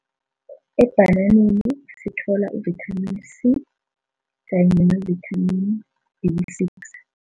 Ebhananeni sithola uvithamini C kanye novithamini B six.